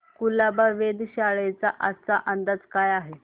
कुलाबा वेधशाळेचा आजचा अंदाज काय आहे